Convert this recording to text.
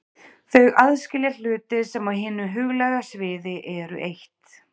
Þau aðskilja hluti sem á hinu huglæga sviði eru eitt.